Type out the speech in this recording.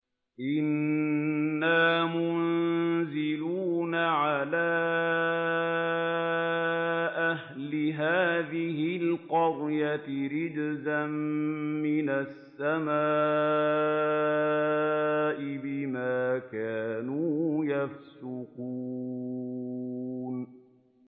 إِنَّا مُنزِلُونَ عَلَىٰ أَهْلِ هَٰذِهِ الْقَرْيَةِ رِجْزًا مِّنَ السَّمَاءِ بِمَا كَانُوا يَفْسُقُونَ